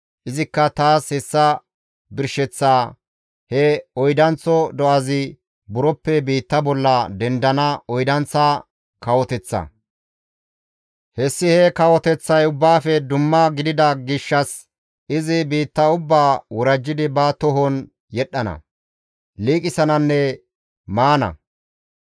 «Izikka taas hessa birsheththaa, ‹He oydanththo do7azi buroppe biitta bolla dendana oydanththa kawoteththa; hessi he kawoteththay ubbaafe dumma gidida gishshas izi biitta ubbaa worajjidi ba tohon yedhdhana, liiqisananne maana.